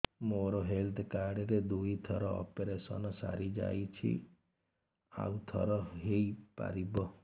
ମୋର health card ରେ ଦୁଇ ଥର ଅପେରସନ ସାରି ଯାଇଛି ଆଉ ଥର ହେଇପାରିବ